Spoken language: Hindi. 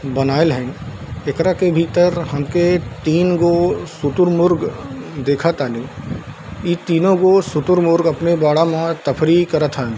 बनाइल हई | एकरा के भीतर हमके तीन गो सुतुरमुर्ग देख तानी | इ तीनो गो शुतुरमुर्ग अपने बाड़ा में तफरी करत हैं |